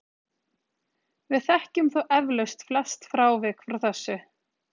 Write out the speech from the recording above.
við þekkjum þó eflaust flest frávik frá þessu